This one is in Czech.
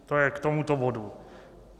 To je k tomuto bodu.